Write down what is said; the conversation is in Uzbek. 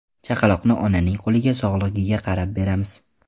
Chaqaloqni onaning qo‘liga sog‘lig‘iga qarab beramiz.